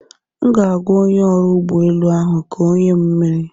M ga-agwa onye ọrụ ụgbọelu ahụ ka ọ nye m mmiri.